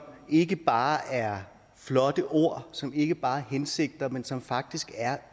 ikke bare er flotte ord som ikke bare er hensigter men som faktisk er